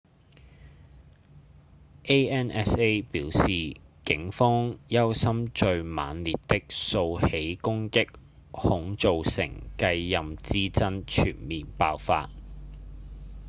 ansa 表示警方憂心最猛烈的數起攻擊恐造成繼任之爭全面爆發